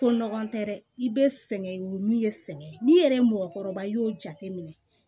Ko nɔgɔn tɛ dɛ i bɛ sɛgɛn y'u min ye sɛgɛn ye n'i yɛrɛ mɔgɔkɔrɔba i y'o jateminɛ